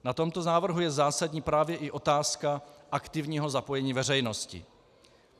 Na tomto návrhu je zásadní právě i otázka aktivního zapojení veřejnosti.